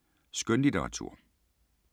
Skønlitteratur